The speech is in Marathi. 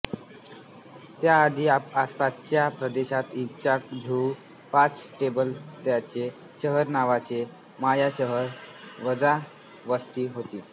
त्याआधी आसपासच्या प्रदेशात इच्कांझिहू पाच टेकड्यांचे शहर नावाचे माया शहर वजा वस्ती होती